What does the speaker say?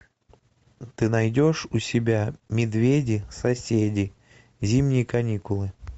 ты найдешь у себя медведи соседи зимние каникулы